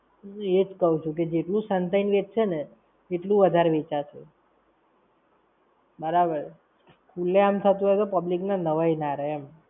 એ જ કાવ છું. જેટલું સંતાઈ ને વેચશે ને, તેટલું વધારે વેચાશે! બરાબર. ખુલ્લે આમ થતું હોય તો public ને નવાઈ ના રેય એમ.